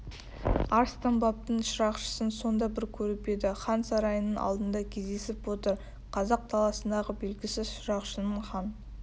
арыстанбаптың шырақшысын сонда бір көріп еді хан сарайының алдында кездесіп отыр қазақ даласындағы белгісіз шырақшының хан